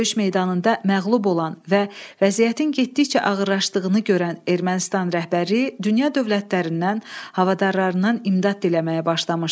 Döyüş meydanında məğlub olan və vəziyyətin getdikcə ağırlaşdığını görən Ermənistan rəhbərliyi dünya dövlətlərindən, havadarlarından imdad diləməyə başlamışdı.